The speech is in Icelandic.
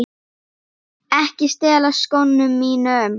Ekki stela skónum mínum!